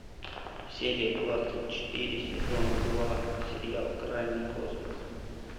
серия двадцать четыре сезона два сериал крайний космос